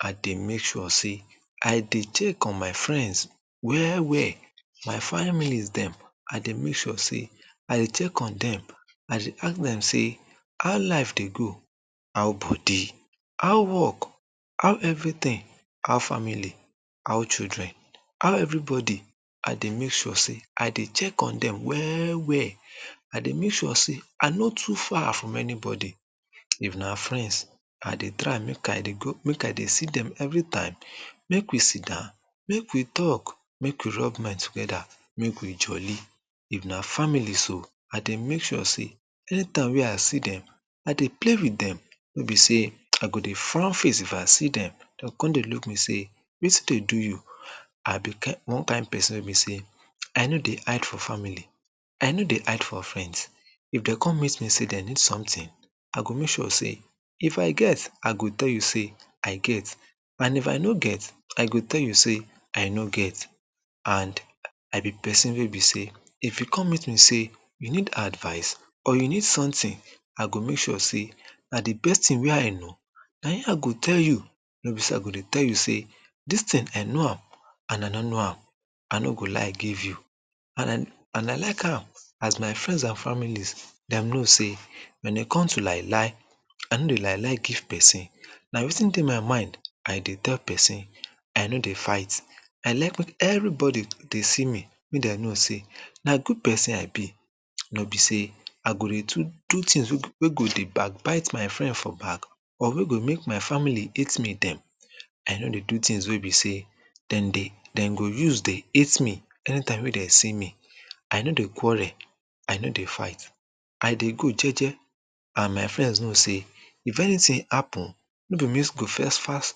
i dey make sure sey i dey check on my friends well well my families dem i dey make sure sey i dey check on them i dey ask them sey how life dey go how body how work how everything how family how children how everybody i dey make sure sey i dey check on them well well i dey make sure sey i no too far from anybody if na friends i dey try make i dey go make i dey see them everytime make we sitdown make we talk make we rub mind together make we jollie if na family so i dey make sure sey anytime wey i see them i dey play with them no be sey i go dey dey frawn face if i see them they go come dey look me sey wetin dey do you i be one kind pesin wey be sey i no dey hide for family i no dey hide for friends if dem come meet me sey dem need sometin i go make sure sey if i get i go tell you sey i get and if i no get i go tell you sey i no get and i be pesin wey be sey if you come meet me sey you need advise or you need someting i go make sure sey na the best ting wey i know na him i go tell you no be sey i go dey tell you sey this ting i know am and i no know am i no go lie give you and and i like am as my friends and families dem know sey when e come to lie lie i no dey lie lie give pesin na wetin dey my mind i dey tell pesin i no dey fight i like wen everybody dey see me make dem know sey na good pesin i be wey be sey i go dey do do tings wey go wey go dey backbite my friend for back or wey go make my family hate me dem i no dey do tings wey be sey dem dey dem go use dey hate me anytime wey dem see me i no qurrel i no dey fight i dey good jeje and my friends know sey if anyting happen no be me go first fast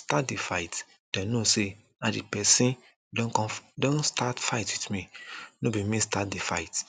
start the fight dem know say na the pesin don come don start fight with me no be me start the fight